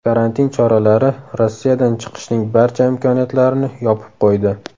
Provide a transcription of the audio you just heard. Karantin choralari Rossiyadan chiqishning barcha imkoniyatlarini yopib qo‘ydi.